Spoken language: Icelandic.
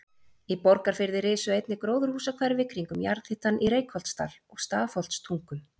Í Borgarfirði risu einnig gróðurhúsahverfi kringum jarðhitann í Reykholtsdal og Stafholtstungum.